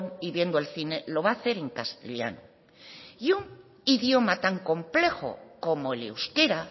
y viendo el cine lo va a hacer en castellano y un idioma tan complejo como el euskera